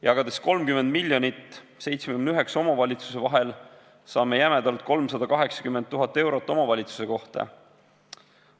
Jagades 30 miljonit 79 omavalitsuse vahel, saame jämedalt 380 000 eurot omavalitsuse kohta.